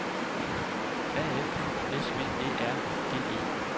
A F S V Æ R G E